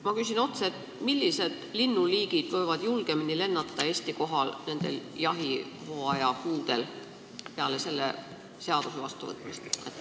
Ma küsin otse: millised linnuliigid võivad peale selle seaduse vastuvõtmist nendel jahihooaja kuudel julgemini Eesti kohal lennata?